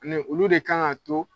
Ni olu de ka kan ka to